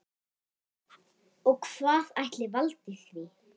Og hvað ætli valdi því?